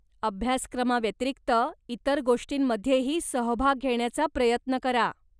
अभ्यासक्रमाव्यतिरिक्त इतर गोष्टींमध्येही सहभाग घेण्याचा प्रयत्न करा.